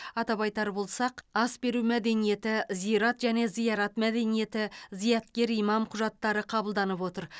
атап айтар болсақ ас беру мәдениеті зират және зиярат мәдениеті зияткер имам құжаттары қабылданып отыр